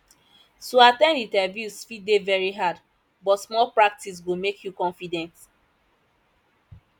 to at ten d interviews fit dey very hard but more practice go make you confident